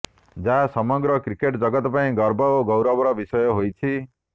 ଯାହା ସମଗ୍ର କ୍ରିକେଟ୍ ଜଗତ ପାଇଁ ଗର୍ବ ଓ ଗୌରବର ବିଷୟ ହୋଇଛି